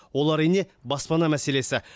ол әрине баспана мәселесі